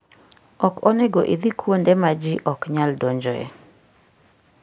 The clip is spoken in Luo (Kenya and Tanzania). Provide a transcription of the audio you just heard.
Ok onego idhi kuonde ma ji ok nyal donjoe.